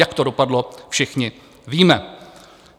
Jak to dopadlo, všichni víme.